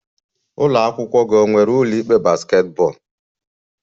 Ụlọ akwụkwọ gị ọ nwere ụlọ ikpe basketball?